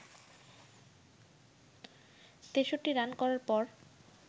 ৬৩ run করার পর